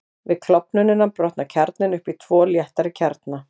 Við klofnunina brotnar kjarninn upp í tvo léttari kjarna.